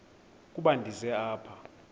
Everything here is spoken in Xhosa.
ukuba ndize apha